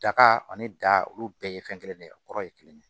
Daga ani da olu bɛɛ ye fɛn kelen de ye a kɔrɔ ye kelen ye